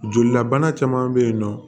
Jolilabana caman bɛ yen nɔ